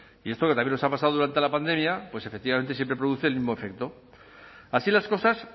y esto que también nos ha pasado durante la pandemia pues efectivamente siempre produce el mismo efecto así las cosas